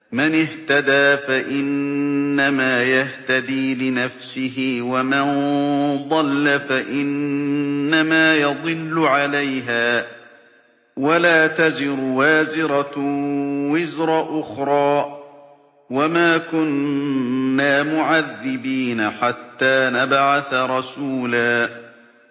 مَّنِ اهْتَدَىٰ فَإِنَّمَا يَهْتَدِي لِنَفْسِهِ ۖ وَمَن ضَلَّ فَإِنَّمَا يَضِلُّ عَلَيْهَا ۚ وَلَا تَزِرُ وَازِرَةٌ وِزْرَ أُخْرَىٰ ۗ وَمَا كُنَّا مُعَذِّبِينَ حَتَّىٰ نَبْعَثَ رَسُولًا